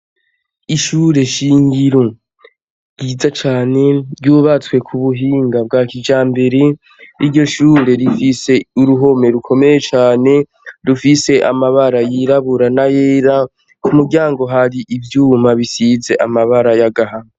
Ishure shingiro, ryiza cane, ryubatswe ku buhinga bwa kijambere. Iryo shure rifise uruhome rukomeye cane, rufise amabara yirabura n'ayera, ku muryango hari ivyuma bisize amabara y'agahama.